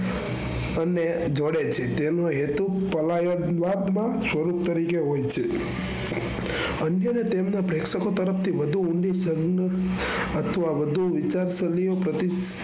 અને જોડે છે. તેમનો હેતુ વિવાદમાં સ્વરૂપ તરીકે હોય છે. અન્ય ને તેમના પ્રેક્ષકો તરફ થી વધુ ઊંડી અથવા વધુ વિચારસરણીય પ્રતિ